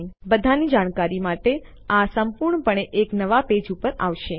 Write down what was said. તમે બધાની જાણકારી માટે આ સંપૂર્ણપણે એક નવા પેજ ઉપર આવશે